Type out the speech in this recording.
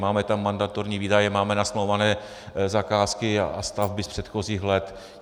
Máme tam mandatorní výdaje, máme nasmlouvané zakázky a stavby z předchozích let.